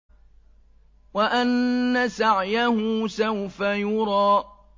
وَأَنَّ سَعْيَهُ سَوْفَ يُرَىٰ